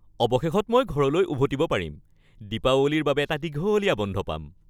অৱশেষত মই ঘৰলৈ উভতিব পাৰিম। দীপাৱলীৰ বাবে এটা দীঘলীয়া বন্ধ পাম।